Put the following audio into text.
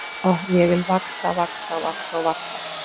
Oh, ég vil vaxa, vaxa, vaxa og vaxa.